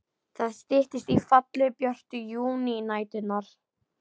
Það styttist í fallegu, björtu júnínæturnar.